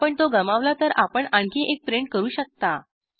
आपण तो गमावला तर आपण आणखी एक प्रिंट करू शकता